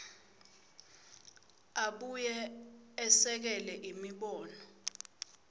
abuye esekele imibono